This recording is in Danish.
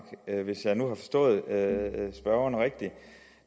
hvis jeg nu har forstået spørgeren rigtigt